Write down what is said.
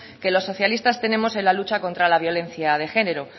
que los socialistas tenemos en la lucha contra la violencia de género